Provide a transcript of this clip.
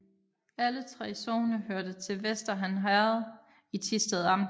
Alle 3 sogne hørte til Vester Han Herred i Thisted Amt